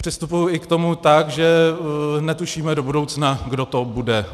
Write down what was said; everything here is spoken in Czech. Přistupuji k tomu i tak, že netušíme do budoucna, kdo to bude.